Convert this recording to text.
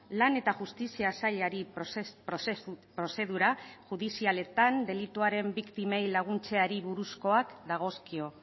lan eta justizia sailari prozedura judizialetan delituaren biktimei laguntzeari buruzkoak dagozkio